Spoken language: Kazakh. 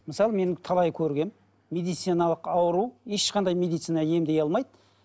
мысалы мен талай көргенмін медициналық ауру ешқандай медицина емдей алмайды